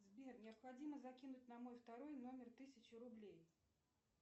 сбер необходимо закинуть на мой второй номер тысячу рублей